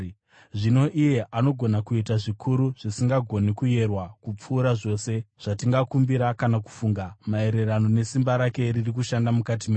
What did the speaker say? Zvino iye anogona kuita zvikuru zvisingagoni kuyerwa kupfuura zvose zvatingakumbira kana kufunga, maererano nesimba rake riri kushanda mukati medu,